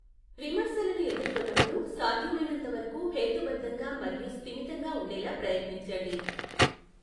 విమర్శలను ఎదుర్కొన్నప్పుడు, సాధ్యమైనంత వరకు హేతుబద్ధంగా మరియు స్థిమితంగా ఉండేలా ప్రయత్నించండి.